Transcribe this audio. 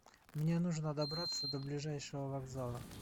мне нужно добраться до ближайшего вокзала